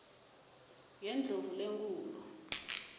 yendlovulenkhulu